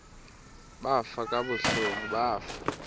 bafa kabuhlungu bafa